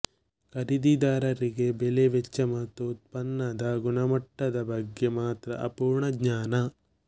ಖರೀದಿದಾರರಿಗೆ ಬೆಲೆ ವೆಚ್ಚ ಮತ್ತು ಉತ್ಪನ್ನದ ಗುಣಮಟ್ಟದ ಬಗ್ಗೆ ಮಾತ್ರ ಅಪೂರ್ಣ ಜ್ಞಾನ